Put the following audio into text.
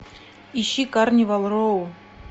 ищи карнивал роу